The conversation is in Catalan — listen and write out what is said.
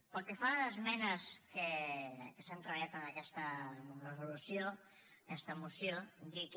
pel que fa a les esmenes que s’han treballat en aquesta resolució en aquesta moció dir que